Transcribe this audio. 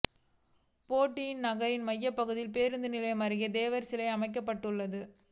போடியில் நகரின் மையப் பகுதியில் பேருந்து நிலையம் அருகே தேவர் சிலை அமைக்கப்பட்டுள்ளது